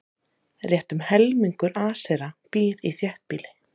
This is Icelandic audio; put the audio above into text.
Rétt um helmingur Asera býr í þéttbýli.